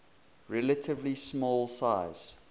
relatively small size